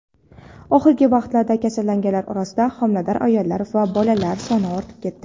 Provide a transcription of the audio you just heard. Oxirgi vaqtlarda kasallanganlar orasida homilador ayollar va bolalar soni ortib ketdi.